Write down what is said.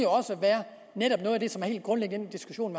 netop den diskussion